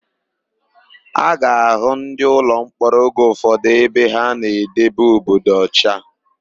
A ga-àhụ́ ndịụlọmkpọrọ oge ụfọdụ ebe ha na-edebe obodo ọcha.